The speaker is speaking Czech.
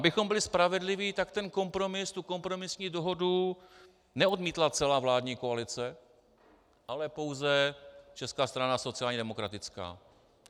Abychom byli spravedliví, tak ten kompromis, tu kompromisní dohodu, neodmítla celá vládní koalice, ale pouze Česká strana sociálně demokratická.